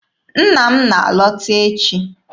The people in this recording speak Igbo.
Nna m na-alọta echi.